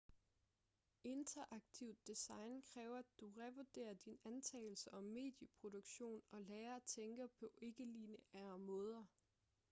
interaktivt design kræver at du revurderer dine antagelser om medieproduktion og lærer at tænke på ikke-lineære måder